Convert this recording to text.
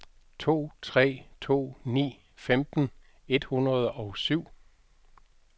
to tre to ni femten et hundrede og syv